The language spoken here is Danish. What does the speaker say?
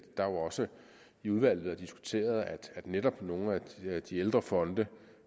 der jo også i udvalget har været diskuteret at netop nogle af de ældre fonde